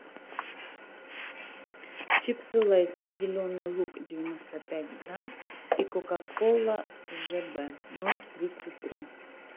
чипсы лейс зеленый лук девяносто пять грамм и кока кола жб ноль тридцать три